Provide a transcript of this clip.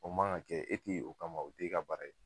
O man ka kɛ, e te yen o kama o te ka baara ye.